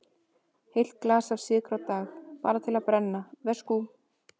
Heilt glas af sykri á dag, bara til að brenna, veskú.